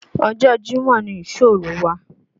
Ọjọ́ Jímọ̀ ni ìsóòrú wa